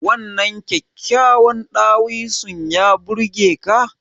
Wannan kyakkyawan dawisun ya burge ka?